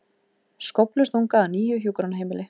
Skóflustunga að nýju hjúkrunarheimili